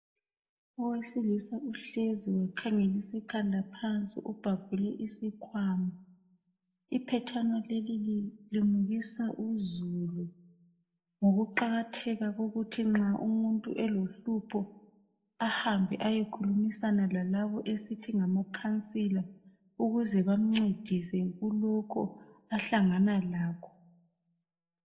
Owesilisa uhlezi wakhangelisa ikhanda phansi ubhabhule isikhwama. Iphetshana leli lilimukisa uzulu ngoku qakatheka kokuthi nxa umuntu elohlupho ahambe ayekhulumisana lalabo esithi ngama khansila ukuze bamncedise kulokhu ahlangana lakho.